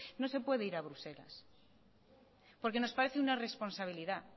no se puede ir a bruselas porque nos parece una irresponsabilidad